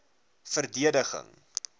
verdediging